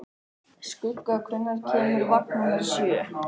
Skugga, hvenær kemur vagn númer sjö?